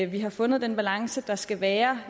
vi har fundet den balance der skal være